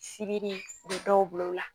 Sirili, u bɛ dɔw bila o la.